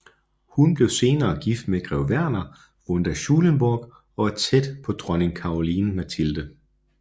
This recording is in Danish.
Hun blev senere gift med grev Werner von der Schulenburg og var tæt på dronning Caroline Mathilde